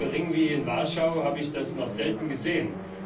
So geringe wie in Warschau habe ich aber noch selten gesehen.